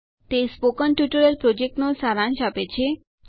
તે spoken tutorial પ્રોજેક્ટનો સારાંશ આપે છે